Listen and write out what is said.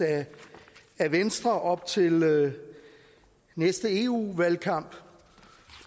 af venstre op til næste eu valgkamp